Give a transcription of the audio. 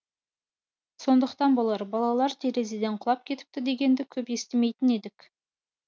сондықтан болар балалар терезеден құлап кетіпті дегенді көп естімейтін едік